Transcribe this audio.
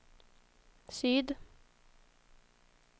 syd